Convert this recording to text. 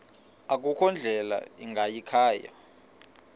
akukho ndlela ingayikhaya